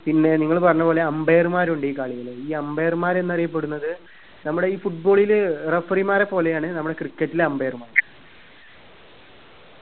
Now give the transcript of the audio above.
പിന്നെ നിങ്ങൾ പറഞ്ഞ പോലെ umpire മാരുണ്ട് ഈ കളിയിൽ ഈ umpire മാരെന്നറിയപ്പെടുന്നത് നമ്മുടെ ഈ football ല് referee മാരെ പോലെയാണ് നമ്മളെ cricket ല് umpire മാർ